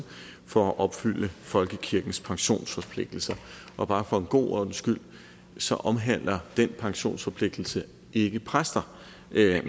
for at opfylde folkekirkens pensionsforpligtelser og bare for en god ordens skyld så omhandler den pensionsforpligtelse ikke præster